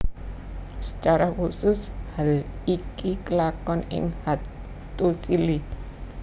Secara khusus hal iki kelakon ing Hattusili